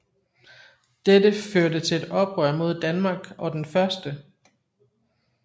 Dette førte til et oprør mod Danmark og den 1